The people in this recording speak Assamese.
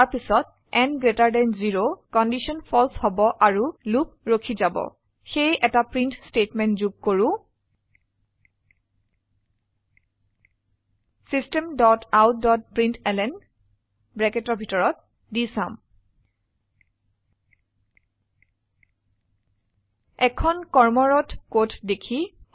তাৰপিছত n গ্ৰেটাৰ দেন 0 কন্ডিশন ফালছে হবআৰু লুপ ৰখি যাব সেয়ে এটা প্ৰিন্ট স্টেটমেন্ট যোগ কৰো systemoutপ্ৰিণ্টলন এখন কৰ্মৰত কোড দেখি